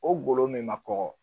O golo min ma kɔgɔ